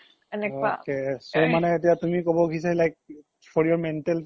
ok so মানে তুমি এতিয়া ক্'ব খুজিছা like for your mental peace